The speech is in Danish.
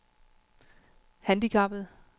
handicappede